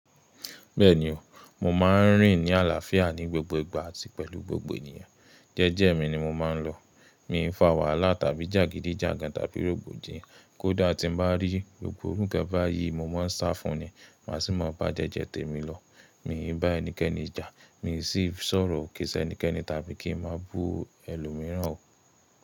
Bẹ́ẹ̀ni o, mo ma n rìn ní àlàáfíà ní gbogbo ìgbà àti pẹ̀lú gbogbo ènìyàn. Jẹ́jẹ́ mi ni mo ma n lọ. Mi ò fà wàhálà tàbí jàgídíjàgan tàbí rògbòdìyàn. Kódà tí n bá rí gbogbo irú ǹkan báyìí, mo ma ń sá fún un ni, màá sì máa bá jẹ́jẹ́ tèmi lọ. Mi ì bá ẹnikẹ́ni jà, mi sì sọ̀rọ̀ òkè sẹnikẹ́ni tàbí kí n má bú ẹlòmíràn ò.